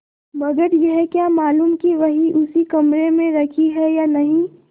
मगर यह क्या मालूम कि वही उसी कमरे में रखी है या नहीं